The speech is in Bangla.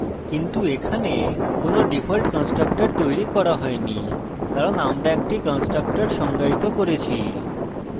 কিন্তু এখানে কোনো ডিফল্ট constructor তৈরী করা হয়নি কারণ আমরা একটি constructor সংজ্ঞায়িত করেছি